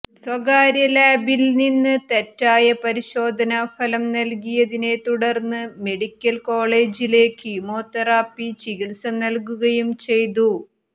സ്വകാര്യ ലാബില്നിന്ന് തെറ്റായ പരിശോധനാഫലം നല്കിയതിനെത്തുടര്ന്ന് മെഡിക്കല് കോളജില് കീമോതെറാപ്പി ചികിത്സ നല്കുകയും ചെയ്തു